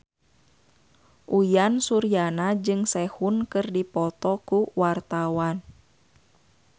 Uyan Suryana jeung Sehun keur dipoto ku wartawan